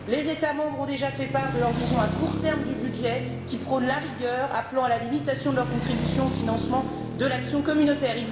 Les États membres ont déjà fait part de leur vision à court terme du budget, qui prône la rigueur, appelant à la limitation de leur contribution au financement de l'action communautaire.